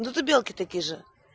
ну ты белки такие же